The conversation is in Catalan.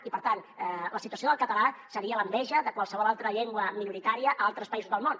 i per tant la situació del català seria l’enveja de qualsevol altra llengua minoritària a altres països del món